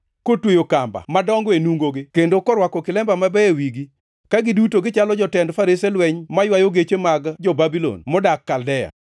kotweyo kamba madongo e nungogi kendo korwako kilemba mabeyo e wigi; ka giduto gichalo jotend farese lweny maywayo geche mag, jo-Babulon modak Kaldea.